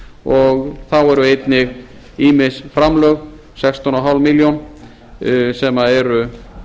og þá eru einnig ýmis framlög sextán hálfa milljón sem eru